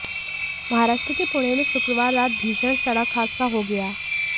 महाराष्ट्र के पुणे में शुक्रवार रात भीषण सड़क हादसा हो गया